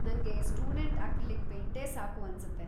ನಂಗೆ student acrylic ಪೇಂಟೇ ಸಾಕು ಅನ್ಸುತ್ತೆ.